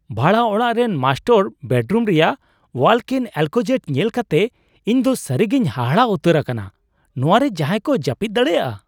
ᱵᱷᱟᱲᱟ ᱚᱲᱟᱜ ᱨᱮᱱ ᱢᱟᱥᱴᱟᱨ ᱵᱮᱰᱨᱩᱢ ᱨᱮᱭᱟᱜ ᱳᱣᱟᱠᱼᱤᱱ ᱮᱞᱠᱳᱡᱮᱴ ᱧᱮᱞ ᱠᱟᱛᱮ ᱤᱧ ᱫᱚ ᱥᱟᱹᱨᱤᱜᱤᱧ ᱦᱟᱦᱟᱲᱟᱜ ᱩᱛᱟᱹᱨ ᱟᱠᱟᱱᱟ, ᱱᱚᱶᱟ ᱨᱮ ᱡᱟᱦᱟᱭ ᱠᱚ ᱡᱟᱹᱯᱤᱫ ᱫᱟᱲᱮᱭᱟᱜᱼᱟ ᱾